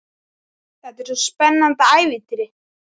Þetta er eins og í spennandi ævintýri.